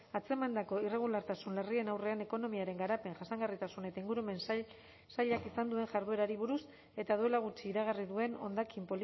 atzemandako irregulartasun larrien aurrean ekonomiaren garapen jasangarritasun eta ingurumen sailak izan duen jarduerari buruz eta duela gutxi iragarri duen hondakin